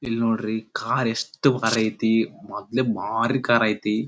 ಇಲ್ಲಿ ನೋಡ್ರಿ ಕಾರ್ ಎಷ್ಟು ಭಾರ್ ಐಟಿ ಮೊದ್ಲೇ ಭಾರಿ ಕಾರ್ ಐತಿ.